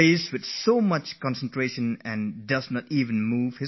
You must have seen his eyes don't wander off the chess board